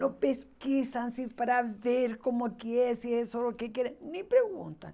Não pesquisam se para ver como que é, se é só o que querem, nem perguntam.